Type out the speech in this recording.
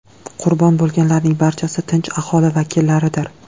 Qurbon bo‘lganlarning barchasi tinch aholi vakillaridir.